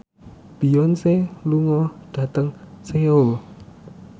Beyonce lunga dhateng Seoul